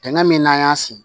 Tɛnɛn min n'an y'a sin